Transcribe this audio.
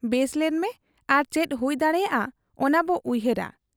ᱵᱮᱥᱞᱮᱱ ᱢᱮ ᱟᱨ ᱪᱮᱫ ᱦᱩᱭ ᱫᱟᱲᱮᱭᱟᱜ ᱟ ᱚᱱᱟᱵᱚ ᱩᱭᱦᱟᱹᱨᱟ ᱾